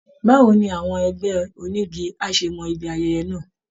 Báwo ni àwọn ẹgbẹ́ onígi á ṣe mọ ibi ayẹyẹ náà?